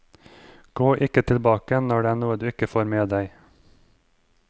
Gå ikke tilbake når det er noe du ikke får med deg.